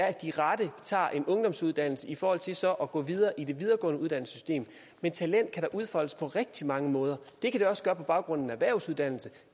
at de rette tager en ungdomsuddannelse i forhold til så at gå videre i det videregående uddannelsessystem men talent kan da udfoldes på rigtige mange måder det kan det også på baggrund af en erhvervsuddannelse